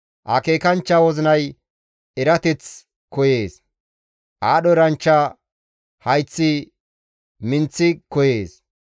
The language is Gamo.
Akeekanchcha wozinay erateth koyees; aadho eranchcha hayththi minththi koyees.